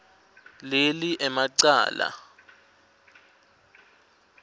leli ema cala